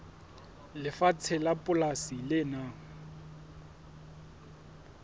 lefatshe la polasi le nang